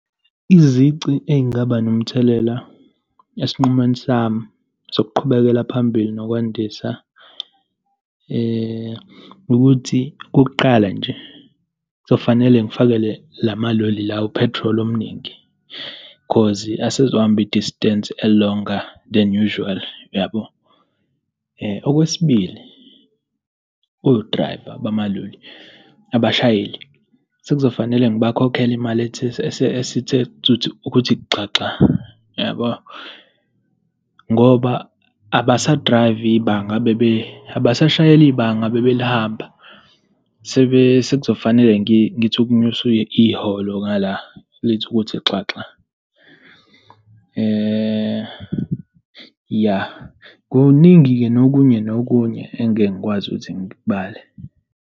Izici ey'ngaba nomthelela esinqumeni sami ngokuqhubekela phambili nokwandisa ukuthi okokuqala nje, kuzofanele ngifakele la maloli lawa u-petrol omningi, cause asezohamba i-distance e-longer than usual, yabo. Okwesibili, o-driver bamaloli, abashayeli, sekuzofanele ngibakhokhela imali ethe esithe thuthu, ukuthi xaxa, yabo, ngoba abasa-drive-i ibanga abebe, abashayeli ibanga ebebelihamba. So, sebe, sekuzofanele ngithi ukunyusa iholo ngala, lithi ukuthi xaxa, ya. Kuningi-ke, nokunye nokunye engeke ngikwazi ukuthi ngikubale.